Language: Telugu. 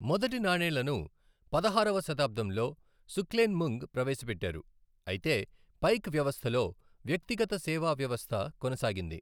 మొదటి నాణేలను పదహారవ శతాబ్దంలో సుక్లెన్ముంగ్ ప్రవేశపెట్టారు, అయితే పైక్ వ్యవస్థలో వ్యక్తిగత సేవా వ్యవస్థ కొనసాగింది.